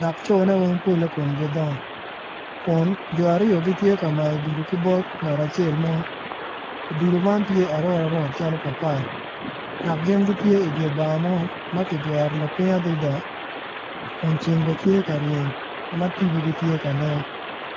dok cone weng komgi dongo kun jo aryo gitye ka mayo odilo ki bot ngat acel mo odilo man tye arotarot calo papai dok gin gitye i dye bar mo ma kijwero lapiny adada kun ceng bene tye ka reny ma tibogi tye ka nen.